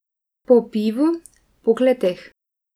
Po pivu, po kleteh.